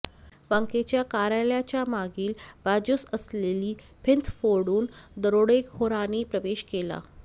बँकेच्या कार्यालयाच्या मागील बाजूस असलेली भिंत फोडून दरोडेखोरांनी प्रवेश केला